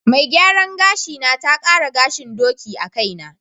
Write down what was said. Mai gyaran gashina ta ƙara gahin ɗoki a kaina.